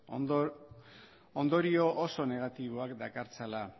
ondorio oso negatiboak dakartzala